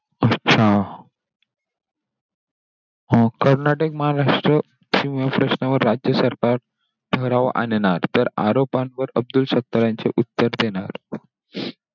हा! कर्नाटक महाराष्ट्र सिंहासनावर राज्य सरकार ठराव आणणार. तर आरोपांवर अब्दुल सत्ता यांचे उत्तर देणार.